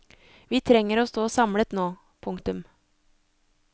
Vi trenger å stå samlet nå. punktum